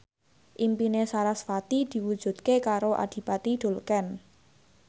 impine sarasvati diwujudke karo Adipati Dolken